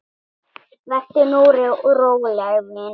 LÁRUS: Vertu nú róleg, vina.